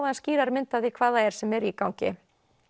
aðeins skýrari mynd af því hvað það er sem er í gangi